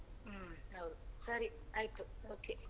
ಹ್ಮ್ ಹೌದು ಸರಿ ಆಯ್ತು okay .